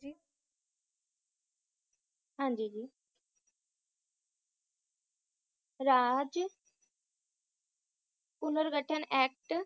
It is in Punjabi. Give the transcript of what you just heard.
ਹਾਂਜੀ ਜੀ ਰਾਜ ਪੁਨਰ ਘਠਣ act